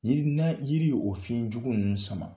Yiri n'a ni yiri o fiɲɛjugu ninnu sama